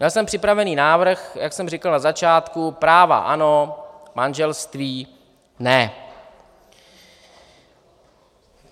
Měl jsem připravený návrh, jak jsem říkal na začátku - práva ano, manželství ne.